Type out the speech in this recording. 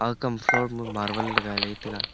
akam floor ma marble lagai le tai a.